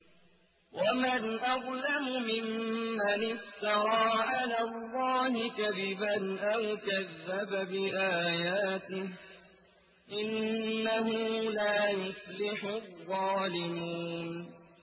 وَمَنْ أَظْلَمُ مِمَّنِ افْتَرَىٰ عَلَى اللَّهِ كَذِبًا أَوْ كَذَّبَ بِآيَاتِهِ ۗ إِنَّهُ لَا يُفْلِحُ الظَّالِمُونَ